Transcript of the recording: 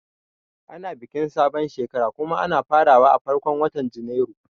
Ana bikin sabon shekara kuma ana farawa a farkon watan Janairu